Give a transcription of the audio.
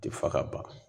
Ti fa ka ban